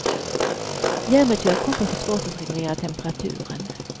Järnbrist gör att kroppen får svårt att reglera temperaturen.